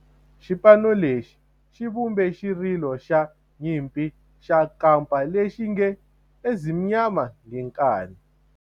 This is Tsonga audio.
Xipano lexi xi vumbe xirilo xa nyimpi xa kampa lexi nge 'Ezimnyama Ngenkani'.